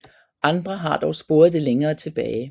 Andre har dog sporet det længere tilbage